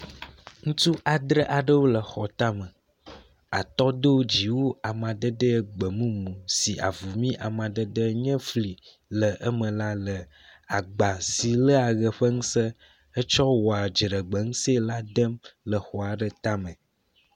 Ŋutsu adre aɖwo le xɔ tame atɔ do dziwu amadede gbemumu si avumi amadede nye fli le eme la le agba si lea ʋe ƒe ŋuse hetsɔ wɔa dziɖegbeŋuse la dem le xɔ aɖe tame.